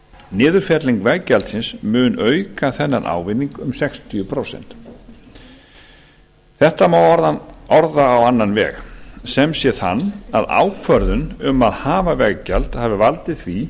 niðurfelling veggjaldsins mun auka þennan ávinning um sextíu prósent þetta má orða á annan veg sem sé þann að ákvörðun um að hafa veggjald hafi valdið því